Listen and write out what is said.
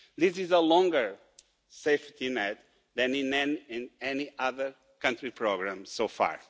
This is a longer safety net than in any other country's programme so far.